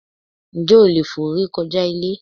Ǹjẹ́ o leè fò re kojá Ilé?